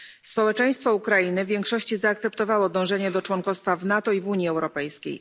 Społeczeństwo Ukrainy w większości zaakceptowało dążenie do członkostwa w NATO i w Unii Europejskiej.